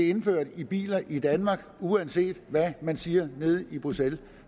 indført i biler i danmark uanset hvad man siger nede i bruxelles